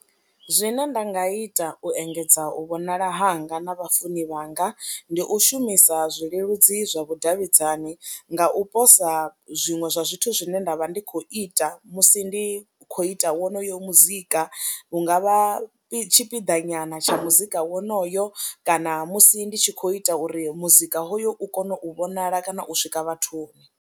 Zwine nda nga ita u engedza u vhonala hanga na vhafuni vhanga ndi u shumisa zwileludzi zwa vhudavhidzani nga u posa zwiṅwe zwa zwithu zwine nda vha ndi khou ita musi ndi khou ita wonoyo muzika, hu nga vha tshipiḓa nyana tsha muzika wonoyo kana musi ndi tshi khou ita uri muzika hoyo u kone u vhonala kana u swika vhathuni.